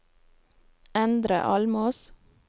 Endre Almås